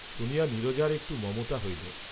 শুনিয়া নীরজার একটু মমতা হইল।